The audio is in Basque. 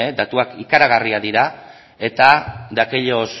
datuak ikaragarriak dira eta de aquellos